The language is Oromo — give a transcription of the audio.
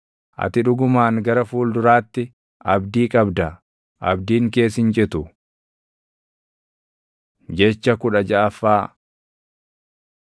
Ati dhugumaan gara fuulduraatti abdii qabda; abdiin kees hin citu. Jecha kudha jaʼaffaa